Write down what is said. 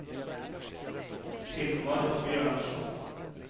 Hilmar Bjørnsen